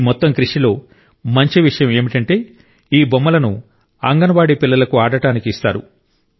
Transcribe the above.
ఈ మొత్తం కృషిలో మంచి విషయం ఏమిటంటే ఈ బొమ్మలను అంగన్వాడీ పిల్లలకు ఆడడానికి ఇస్తారు